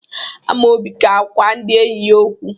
Amaobi ga-agwa ndị enyi ya okwu.